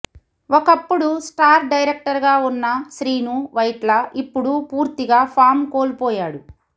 ఒకప్పుడు star director గా ఉన్న శ్రీను వైట్ల ఇప్పుడు పూర్తిగా ఫామ్ కోల్పోయాడు